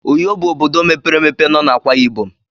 Uyo bụ obodo mepere emepe nọ na Akwaibom.